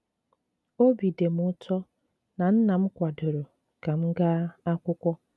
Obi dị m ụtọ na nnam kwadoro ka m gaa akwụkwọ.